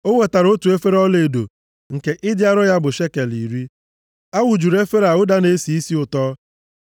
O wetara otu efere ọlaedo nke ịdị arọ ya bụ shekel iri. A wụjuru efere a ụda na-esi isi ụtọ.